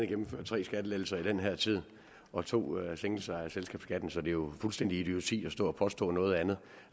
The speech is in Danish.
gennemført tre skattelettelser i den her tid og to sænkelser af selskabsskatten så det er jo fuldstændig idioti at stå og påstå noget andet